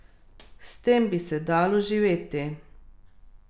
S tem bi se dalo živeti.